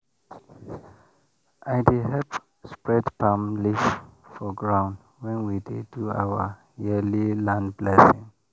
i dey help spread palm leaf for ground when we dey do our yearly land blessing